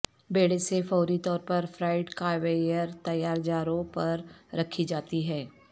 بیڑے سے فوری طور پر فرائیڈ کاویئر تیار جاروں پر رکھی جاتی ہے